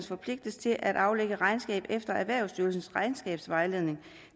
forpligtes til at aflægge regnskab efter erhvervsstyrelsens regnskabsvejledning